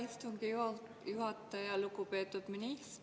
Eks see meenutus oleks ilus, aga antud juhul ma ei loe seda protseduuriliseks küsimuseks.